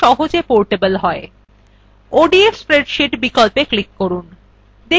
odf spreadsheet বিকল্পে click করুন